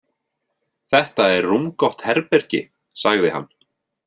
Þetta er rúmgott herbergi, sagði hann.